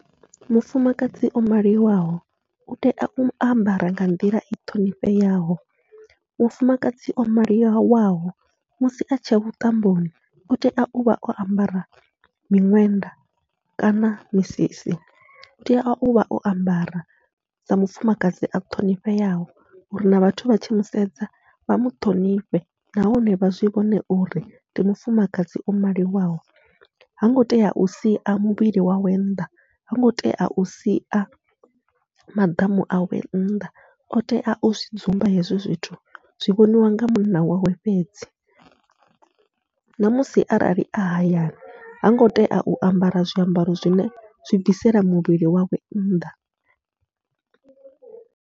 Mufumakadzi o maliwaho u tea u ambara nga nḓila i ṱhonifheaho, mufumakadzi o maliwaho musi atshi ya vhuṱamboni utea uvha o ambara miṅwenda kana misisi utea uvha o ambara sa mufumakadzi a ṱhonifheaho, uri na vhathu vha tshi musedza vha muṱhonifhe nahone vha zwi vhone uri ndi mufumakadzi o maliwaho. Hango tea u sia muvhili wawe nnḓa hango tea usia maḓamu awe nnḓa, o tea u dzumba hezwi zwithu zwi vhoniwa nga munna wawe fhedzi, ṋamusi arali a hayani hango tea u ambara zwiambaro zwine zwi bvisela muvhili wawe nnḓa.